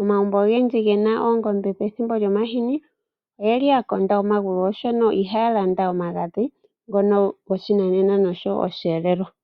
Omagumbo ogendji ge na oongombe pethimbo lyomahini oga kondwa omagulu, oshoka uuna pe na omagadhi ngono goshinanena osho wo osheelelwa.